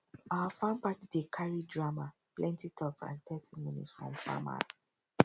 our farm party dey carry drama plenty talks and testimonies from farmer